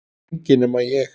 Enginn nema ég